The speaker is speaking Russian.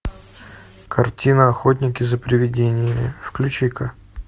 картина охотники за привидениями включи ка